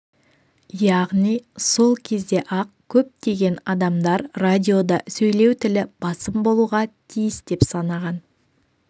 яғни сол кезде-ақ көптеген адамдар радиода сөйлеу тілі басым болуға тиіс деп санаған